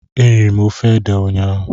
Eriri m ofe ede ụnyaahụ